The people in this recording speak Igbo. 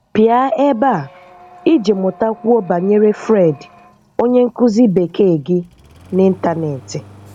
Pịa ebe a iji mụtakwuo banyere Fred, onye nkụzi Bekee gị n'ịntanetị.